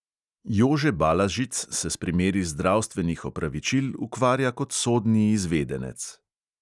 Jože balažic se s primeri zdravstvenih opravičil ukvarja kot sodni izvedenec.